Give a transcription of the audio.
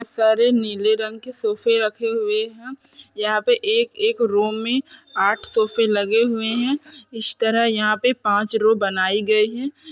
सारे नीले रंग के सोफ़े रखे हुए है यहाँ पे एक-एक रो में आठ सोफ़े लगे हुए है इस तरह यहाँ पे पाँच रो बनाई गई हैं।